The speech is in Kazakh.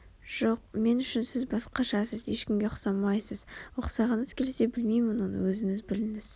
жоқ мен үшін сіз басқашасыз ешкімге ұқсамайсыз Ұқсағыңыз келсе білмеймін оны өзіңіз біліңіз